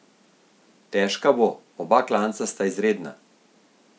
Težka bo, oba klanca sta izredna.